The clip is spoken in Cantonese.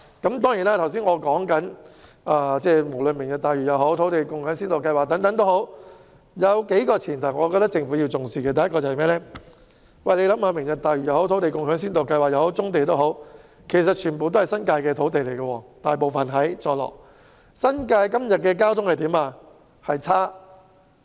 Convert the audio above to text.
不過，無論是"明日大嶼"或先導計劃，都有些前提是政府必須重視的：第一，"明日大嶼"、先導計劃或棕地等大多數涉及坐落於新界的土地，但現時新界的交通情況卻很差。